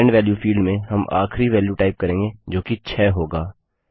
end value field में हम आखिरी वेल्यू टाइप करेंगे जो कि 6 होगा